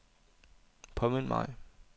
påmind mig